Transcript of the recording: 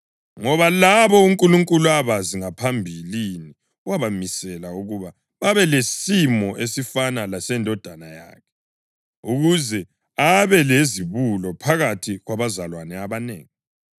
Ngoba labo uNkulunkulu abazi ngaphambilini wabamisela ukuba babe lesimo esifana leseNdodana yakhe, ukuze abe lizibulo phakathi kwabazalwane abanengi.